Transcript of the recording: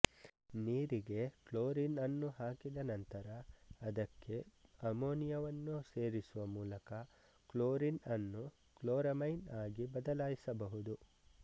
ನೀರಿಗೆ ಕ್ಲೋರೀನ್ ಅನ್ನು ಹಾಕಿದ ನಂತರ ಅದಕ್ಕೆ ಅಮೋನಿಯವನ್ನು ಸೇರಿಸುವ ಮೂಲಕ ಕ್ಲೋರೀನ್ ಅನ್ನು ಕ್ಲೋರಮೈನ್ ಆಗಿ ಬದಲಾಯಿಸಬಹುದು